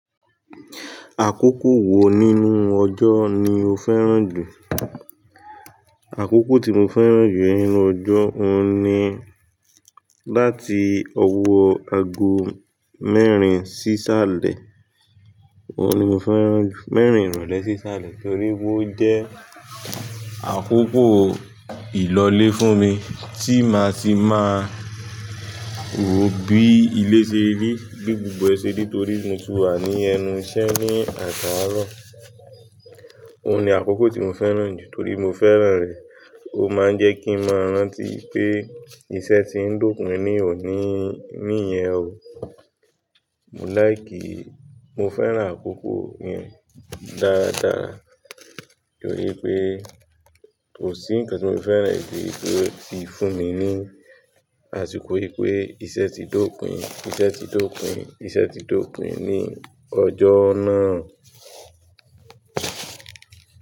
Àkókò wo nínú ọjọ́ ni o fẹ́ràn jù? Àkókò tí mo fẹ́ràn jù nínú ọjọ́, òun ni láti ọwọ́ aago mẹ́erin sí isálẹ̀. Óun ni mo fẹ́ràn ju, mẹ́erin ìrọ̀lẹ́ sí isálẹ̀ torí pé ó jẹ́ àkókò ìlọlé fún mi tí máa ti máa ró bí ilé ṣe rí, bi gbogbo ẹ ṣe rí torí mo ti wà ní ẹnu iṣẹ́ ní àt'aaró. Óun ni àkókò tí mo fẹ́ràn jù torí mo fẹ́ràn rẹ̀. Ó máa ń jẹ́ kí n máa rántí pé iṣẹ́ tí ń d'ópin ní òní níyẹn o. Mo like, mo fẹ́ràn àkókò yẹn dáadáa torí pé kò sí ǹkan tí mo fẹ́ràn e bíi pé ó ti fún mi ní àsìkò wípé iṣẹ́ ti d'ópin, iṣẹ́ ti d''opin, iṣẹ́ ti d'ópon ní ọjọ́ náà.